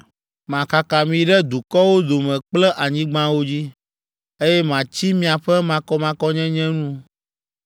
Makaka mi ɖe dukɔwo dome kple anyigbawo dzi, eye matsi miaƒe makɔmakɔnyenye nu.